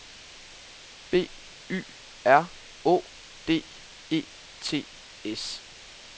B Y R Å D E T S